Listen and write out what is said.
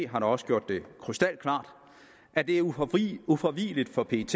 har da også gjort det krystalklart at det er ufravigeligt ufravigeligt for pet